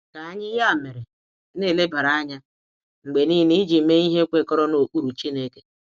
Ka anyị, ya mere, na-elebara anya mgbe niile iji mee ihe kwekọrọ na okpuru Chineke.